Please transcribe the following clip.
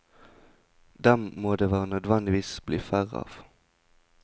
Dem må det nødvendigvis bli færre av.